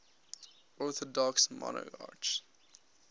orthodox monarchs